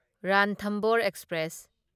Ranthambore express